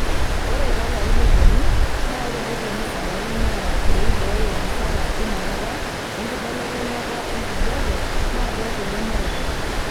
Ore too larin oopuonu naa ore reteni sidain naa loibooyo masara einakata enkibelekenyat enkijiepe naa keeku lemooto.